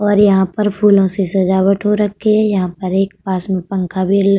और यहाँ पर फूलों से सजावट हो रखी यहाँ पर एक पास में पंखा भी ल --